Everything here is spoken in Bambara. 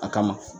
A kama